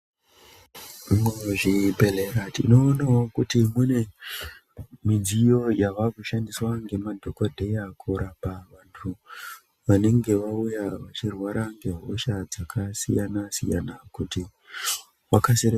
Zvimwe zvibhedhlera tinoonavo kuti mune midziyo yavakushandiswa ngemadhogodheya kurapa vantu vanenge vauya vachirwara ngehosha dzakasiyana-siyana, kuti vakasire kupona.